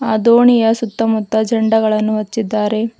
ಅ ದೋಣಿಯ ಸುತ್ತಮುತ್ತ ಜಂಡಗಳನ್ನು ಹಚ್ಚಿದ್ದಾರೆ.